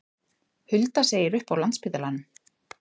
Hulda segir upp á Landspítalanum